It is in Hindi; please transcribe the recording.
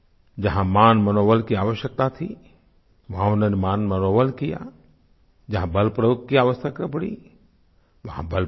जहाँ मानमनौवल की आवश्यकता थी वहाँ उन्होंने मानमनौवल किया जहाँ बलप्रयोग की आवश्यकता पड़ी वहाँ बलप्रयोग किया